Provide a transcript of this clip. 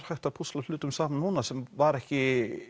hægt að púsla hlutunum saman núna sem var ekki